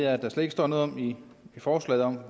at der slet ikke står noget i forslaget om